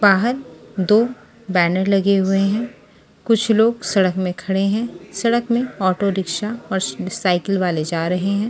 बाहर दो बैनर लगे हुए हैं कुछ लोग सड़क में खड़े हैं सड़क में ऑटो रिक्शा और साइकिल वाले जा रहे हैं।